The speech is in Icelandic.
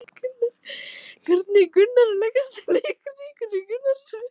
Hvernig leggst leikurinn í ykkur?